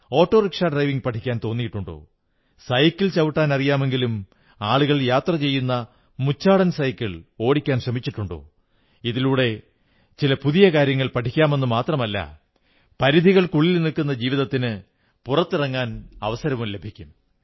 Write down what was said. auto rickshaw driving പഠിക്കാൻ തോന്നിയിട്ടുണ്ടോ cycle ചവിട്ടാനറിയാമെങ്കിലും ആളുകൾ യാത്ര ചെയ്യുന്ന മുച്ചാടൻ സൈക്കിൾ ഓടിക്കാൻ ശ്രമിച്ചിട്ടുണ്ടോ ഇതിലൂടെ ചില പുതിയ കാര്യങ്ങൾ പഠിക്കാമെന്നു മാത്രമല്ല പരിധികൾക്കുള്ളിൽ നിൽക്കുന്ന ജീവിതത്തിന് പുറത്തിറങ്ങാനവസരവും ലഭിക്കും